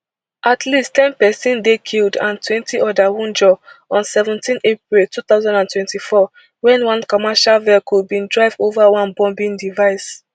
at least ten pesin dey killed and twenty oda wunjure on seventeen april two thousand and twenty-four wen one commercial vehicle bin drive ova one bombing device